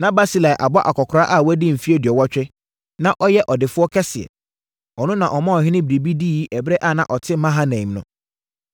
Na Barsilai abɔ akɔkoraa a wadi mfeɛ aduɔwɔtwe, na ɔyɛ ɔdefoɔ kɛseɛ. Ɔno na ɔmaa ɔhene biribi diiɛ ɛberɛ a na ɔte Mahanaim no.